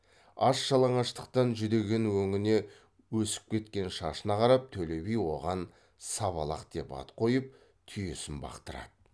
аш жалаңаштықтан жүдеген өңіне өсіп кеткен шашына қарап төле би оған сабалақ деп ат қойып түйесін бақтырады